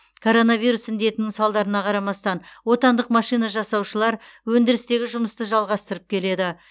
коронавирус індетінің салдарына қарамастан отандық машина жасаушылар өндірістегі жұмысты жалғастырып келеді